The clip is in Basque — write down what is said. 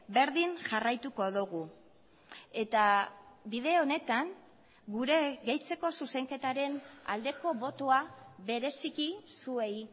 berdin jarraituko dugu eta bide honetan gure gehitzeko zuzenketaren aldeko botoa bereziki zuei